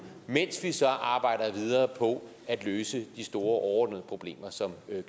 mens vi så arbejder videre på at løse de store overordnede problemer som